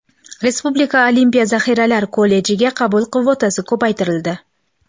Respublika olimpiya zaxiralari kollejiga qabul kvotasi ko‘paytirildi.